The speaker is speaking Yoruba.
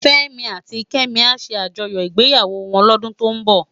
Femi áti Kemi á sé ájòyò igbéyáwò wòn lòdún tó n bò